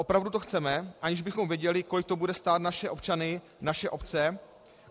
Opravdu to chceme, aniž bychom věděli, kolik to bude stát naše občany, naše obce?